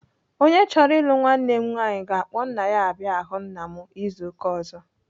Onye chọrọ ịlụ nwanne m nwaanyi ga-akpọ nna ya abịa ahụ nna m izu ụka ọzọ.